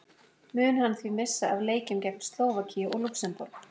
Mun hann því missa af leikjunum gegn Slóvakíu og Lúxemborg.